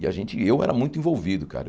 E a gente, e eu era muito envolvido, cara.